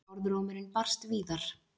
Orðrómurinn barst víðar.